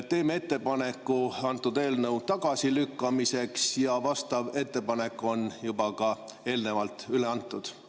Teeme ettepaneku antud eelnõu tagasilükkamiseks ja vastav ettepanek on juba ka eelnevalt üle antud.